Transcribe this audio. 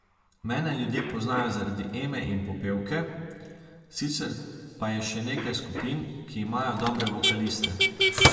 Mene ljudje poznajo zaradi Eme in Popevke, sicer pa je še nekaj skupin, ki imajo dobre vokaliste.